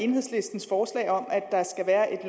enhedslistens forslag om at der skal være